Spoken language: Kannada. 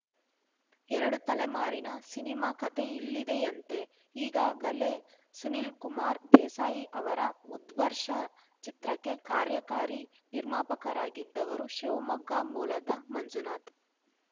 ಎರಡು ತಲೆಮಾರಿನ ಸಿನಿಮಾ ಕತೆ ಇಲ್ಲಿದೆಯಂತೆ ಈಗಾಗಲೇ ಸುನೀಲ್‌ ಕುಮಾರ್‌ ದೇಸಾಯಿ ಅವರ ಉದ್ಘರ್ಷ ಚಿತ್ರಕ್ಕೆ ಕಾರ್ಯಕಾರಿ ನಿರ್ಮಾಪಕರಾಗಿದ್ದವರು ಶಿವಮೊಗ್ಗ ಮೂಲದ ಮಂಜುನಾಥ್‌